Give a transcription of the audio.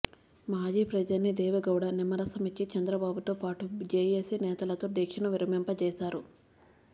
మాజీ ప్రధాని దేవెగౌడ నిమ్మరసం ఇచ్చి చంద్రబాబుతో పాటూ జేఏసీ నేతలతో దీక్షను విరమింపజేశారు